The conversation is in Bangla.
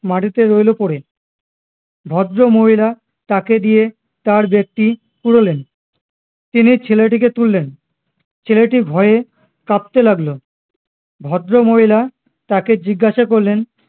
মাটিতে রইলো পরে ভদ্রমহিলা তাকে দিয়ে তার ব্যাগটি কুড়োলেন তিনি ছেলেটিকে তুললেন ছেলেটি ভয়ে কাঁপতে লাগলো ভদ্রমহিলা তাকে জিজ্ঞাসা করলেন